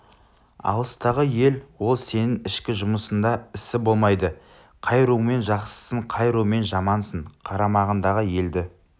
алыстағы ел ол сенің ішкі жұмысыңда ісі болмайды қай румен жақсысың қай румен жамансың қарамағыңдағы елді